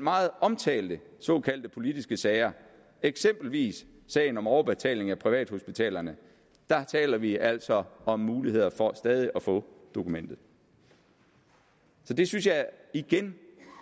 meget omtalte såkaldte politiske sager eksempelvis sagen om overbetaling af privathospitalerne taler vi altså om muligheder for stadig at få dokumentet det synes jeg igen